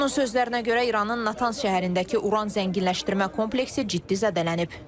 Onun sözlərinə görə, İranın Natanz şəhərindəki uran zənginləşdirmə kompleksi ciddi zədələnib.